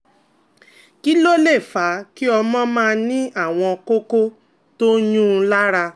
Kí ló lè fà á kí ọmọ máa ní àwọn kókó tó ń yuún un lára?